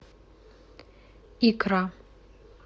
икра